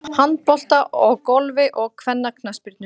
Hafnabolta og Golfi og kvennaknattspyrnu.